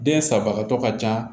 Den sagatɔ ka ca